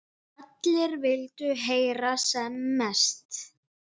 Allir vildu heyra sem mest.